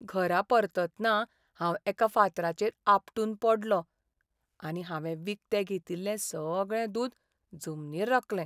घरा परततना हांव एका फातराचेर आपटून पडलों आनी हांवें विकतें घेतिल्लें सगळें दूद जमनीर रकलें.